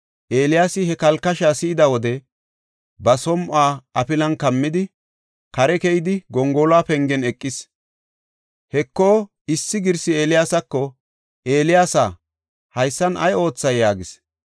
Eeliyaasi he kalkashaa si7ida wode ba som7uwa afilan kammidi, kare keyidi gongoluwa pengen eqis. Heko, issi girsi Eeliyaasako, “Eeliyaasa, haysan ay oothay?” yaagis.